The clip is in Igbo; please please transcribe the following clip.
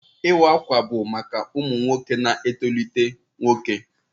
Iwa akwa bụ maka ụmụ nwoke na-etolite nwoke.